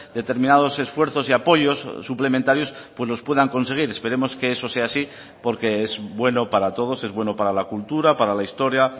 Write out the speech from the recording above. determinados esfuerzos y apoyos suplementarios pues los puedan conseguir esperemos que eso sea así porque es bueno para todos es bueno para la cultura para la historia